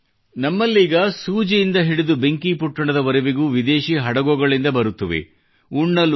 ಅಂದರೆ ನಮ್ಮಲ್ಲೀಗ ಸೂಜಿಯಂದ ಹಿಡಿದು ಬೆಂಕಿಪೊಟ್ಟಣದವರೆಗೂ ವಿದೇಶೀ ಹಡಗುಗಳಿಂದ ಬರುತ್ತವೆ